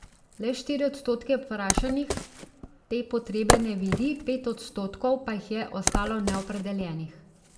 Le štiri odstotke vprašanih te potrebe ne vidi, pet odstotkov pa jih je ostalo neopredeljenih.